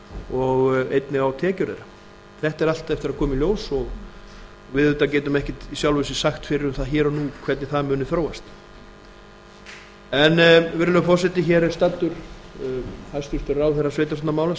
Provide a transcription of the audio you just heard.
og einnig á tekjur þeirra þetta á allt eftir að koma í ljós og við auðvitað getum ekki í sjálfu sér sagt fyrir um það hér og nú hvernig það muni þróast en virðulegi forseti hér er staddur hæstvirtur ráðherra sveitarstjórnarmála samgönguráðherra og